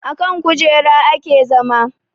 Akan kujera ake zama